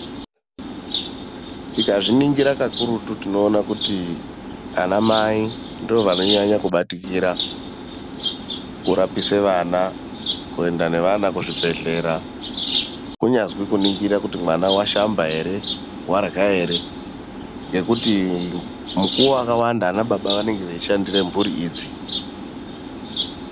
Tikazviningira kakurutu tinoona kuti anamai ndiwo anonyanya kubatikira kurapisa vana, kuenda neana kuzvibhedhlera kunyazwi kuningira kuti mwana washamba ere, warya ere ngekuti mukuwo wakawanda anababa vanenge vachishandira mhuri idzi.